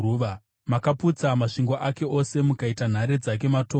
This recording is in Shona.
Makaputsa masvingo ake ose mukaita nhare dzake matongo.